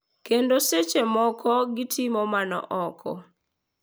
kendo seche moko gitimo mano oko.